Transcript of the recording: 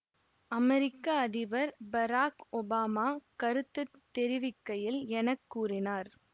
அமெரிக்க அதிபர் Barack Obama கருத்து தெரிவிக்கையில் என கூறினார்